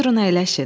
Buyurun əyləşin.